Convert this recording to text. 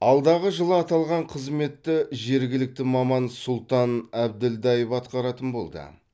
алдағы жылы аталған қызметті жергілікті маман сұлтан әбілдаев атқаратын болды